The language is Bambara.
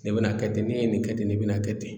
Nin bena kɛ ten ne ye nin kɛ ten nin bena kɛ ten